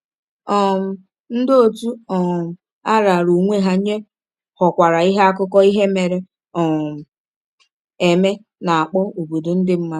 um Ndị òtù um a raara onwe ha nye ghọkwara ihe akụkọ ihe mere um eme na-akpọ “obodo ndị mmadụ.”